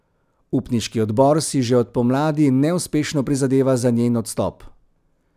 Upniški odbor si že od pomladi neuspešno prizadeva za njen odstop.